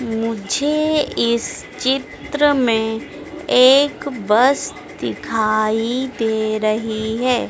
मुझे इस चित्र में एक बस दिखाई दे रही है।